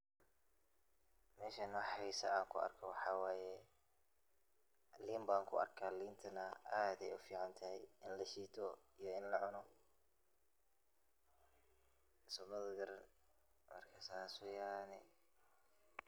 Meshan wa xesaa AA ku argoh waxawaye, leen ba ku arkah leen aad aya u ficantahay ini lasheetoh ee lacunoh, somathanbkarani marka saas weeyan .